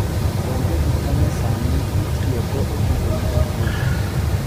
Onge gik manyasani mitiyogo e pidho nyithi gwen.